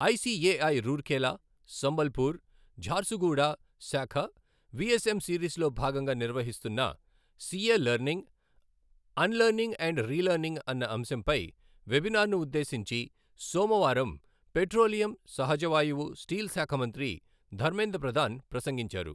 ICAI Rourkela, Sambalpur, Jharsuguda శాఖ VSM సిరీస్లో భాగంగా నిర్వహిస్తున్న CA learning, unlearning and relearning అన్న అంశంపై వెబినార్ను ఉద్దేశించి సోమవారం పెట్రోలియం, సహజవాయువు, స్టీల్ శాఖ మంత్రి ధర్మేంద్ర ప్రదాన్ ప్రసంగించారు.